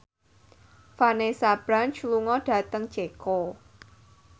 Vanessa Branch lunga dhateng Ceko